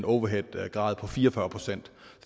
overheadgrad på fire og fyrre procent